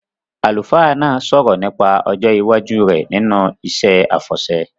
Àlùfáà náà sọ̀rọ̀ nípa ọjọ́ iwájú rẹ̀ nínú iṣẹ́ àfọ̀ṣẹ